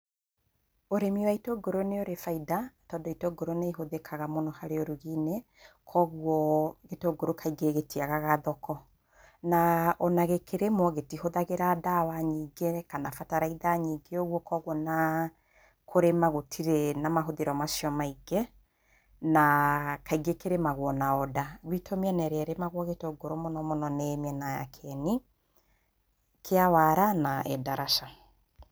Ũrĩmi wa itũngũrũ nĩ ũrĩ baida, tondũ itũngũrũ nĩ ihũthĩkaga mũno harĩ ũrugi-inĩ, kũoguo gĩtũngũrũ kaingĩ gĩtiagaga thoko. Na o na gĩkĩrĩmwo, gĩtihũthagĩra ndawa nyingĩ kana bataraitha nyingĩ ũguo, kũoguo o na kũrima gũtirĩ na mahũthĩro macio maingĩ. Na, kaingĩ kĩrĩmagũo na onda. Gwitũ mĩena ĩrĩa ĩrĩmagwo gĩtũngũrũ mũno mũno nĩ mĩena ya Kieni kĩa Wara, na Endarasha.